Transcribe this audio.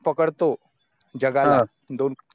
पकडतो जगाला हा